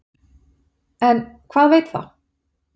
En hvað veit það?